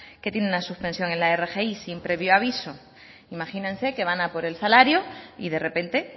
que tienen la suspensión de la rgi sin previo aviso imagínense que van a por el salario y de repente